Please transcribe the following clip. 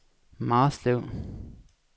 Marslev